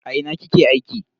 A ina kike aiki?